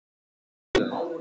Þú ættir að hvíla þig.